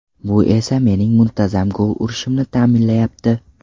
Bu esa mening muntazam gol urishimni ta’minlayapti.